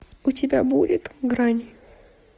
у тебя будет грань